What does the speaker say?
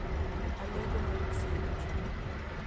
олегом алексеевичем